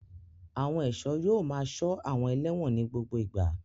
Àwọn ẹ̀ṣọ́ yóò máa ṣọ́ àwọn ẹlẹ́wọ̀n ní gbogbo ìgbà.